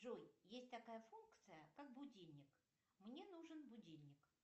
джой есть такая функция как будильник мне нужен будильник